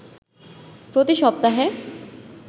প্রতি সপ্তাহে